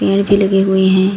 पेड़ भी लगे हुए हैं।